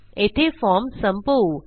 येथे फॉर्म संपवू